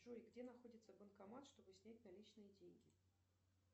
джой где находится банкомат чтобы снять наличные деньги